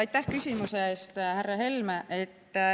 Aitäh küsimuse eest, härra Helme!